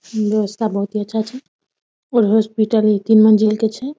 दोस्त आर बहुते अच्छा छै और हॉस्पिटल इ तीन मंजिल के छै ।